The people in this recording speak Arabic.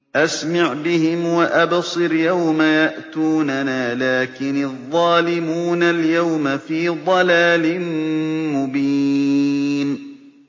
أَسْمِعْ بِهِمْ وَأَبْصِرْ يَوْمَ يَأْتُونَنَا ۖ لَٰكِنِ الظَّالِمُونَ الْيَوْمَ فِي ضَلَالٍ مُّبِينٍ